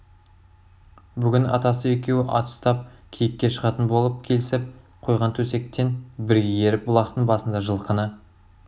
бүгін атасы екеуі ат ұстап киікке шығатын болып келісіп қойған төсектен бірге еріп бұлақтың басында жылқыны